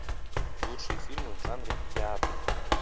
лучшие фильмы в жанре театр